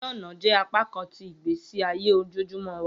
Iṣẹ ọna jẹ apakan ti igbesi aye ojoojumọ wa.